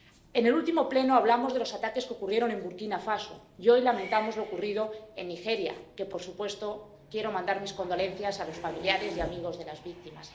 En el último Pleno hablamos de los ataques que ocurrieron en Burkina Faso, y hoy lamentamos lo ocurrido en Nigeria, y, por supuesto, quiero mandar mis condolencias a los familiares y amigos de las víctimas.